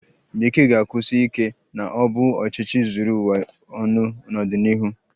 Bekee ga-ekwusi ike na ọ bụ ọchịchị zuru ụwa ọnụ n'ọdịnihu?